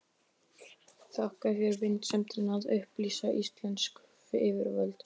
Þakka þér vinsemdina að upplýsa íslensk yfirvöld.